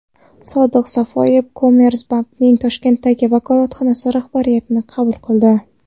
Sodiq Safoyev Commerzbank’ning Toshkentdagi vakolatxonasi rahbarini qabul qildi.